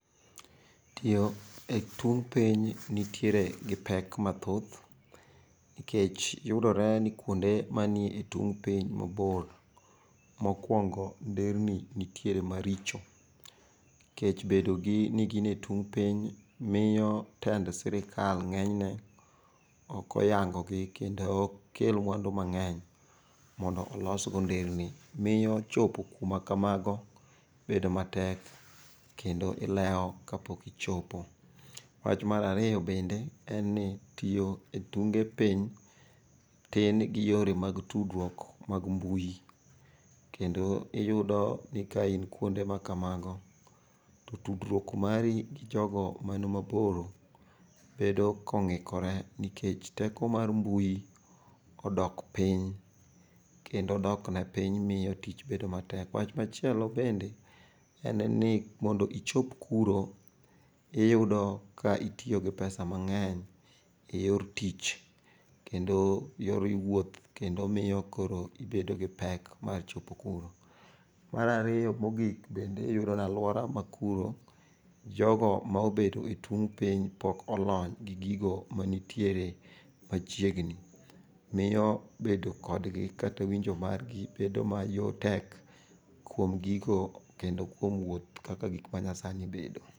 Tiyo e tung' piny nitiere gi pek mathoth, nikech yudore ni kuonde mani e tung' piny mabor. Mokwongo nderni nitiere maricho, kech bedogi ni gin e tung' piny miyo tend sirikal ng'enyne okoyangogi kendo ok kel mwandu mang'eny mondo olsgo nderni. Miyo chopo kumakamago bedo matek kendo ilewo kapok ichopo. Wach marariyo bende tiyo e tunge piny tin gi yore mag tudruok mag mbui. Kendo iyudi ni kain kuonde ma kamago to tudruok mari gi jogo mani mabor bedo kong'ikore nikech teko mar mbui odok piny. Kendo dokne piny miyo tich bedo matek. Wach machielo bende, en ni mondo ichop kuro iyudo ka itiyo gi pesa mang'eny e yor tich kendo yor wuoth kendo miyo koro ibedo gi pek mar chopo kuro. Marariyo mogik bende iyudo nalwora makuro jogo maobet e tung' piny pok olony gi gigo manitiere machiegni. Miyo bedo kodgi kata winjo margi bedo mayo tek kuom gigo kendo kuom wuoth kaka gik manyasani bedo.